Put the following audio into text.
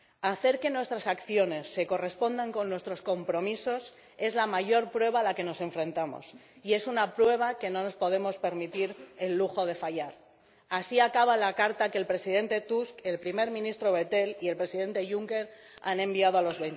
Hacer que nuestras acciones se correspondan con nuestros compromisos es la mayor prueba a la que nos enfrentamos y es una prueba que no nos podemos permitir el lujo de fallar. Así acaba la carta que el presidente Tusk, el primer ministro Bettel y el presidente Juncker han enviado a los